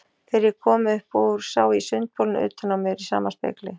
Þegar ég kom upp úr sá ég sundbolinn utan á mér í sama spegli.